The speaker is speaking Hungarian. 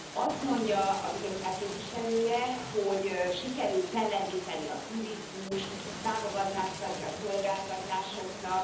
Azt mondja a Bizottság képviselője, hogy sikerült fellendíteni a turizmust, támogatást adni a szolgáltatásoknak.